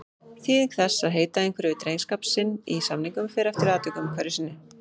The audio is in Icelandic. Þýðing þess að heita einhverju við drengskap sinn í samningum fer eftir atvikum hverju sinni.